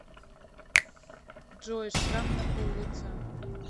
джой шрам на пол лица